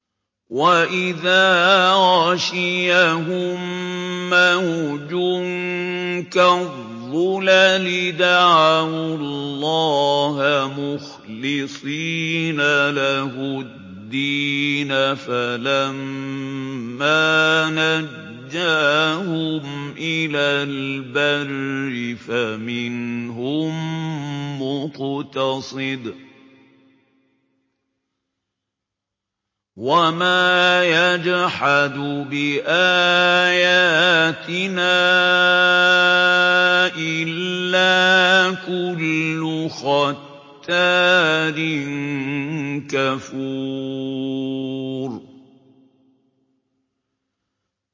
وَإِذَا غَشِيَهُم مَّوْجٌ كَالظُّلَلِ دَعَوُا اللَّهَ مُخْلِصِينَ لَهُ الدِّينَ فَلَمَّا نَجَّاهُمْ إِلَى الْبَرِّ فَمِنْهُم مُّقْتَصِدٌ ۚ وَمَا يَجْحَدُ بِآيَاتِنَا إِلَّا كُلُّ خَتَّارٍ كَفُورٍ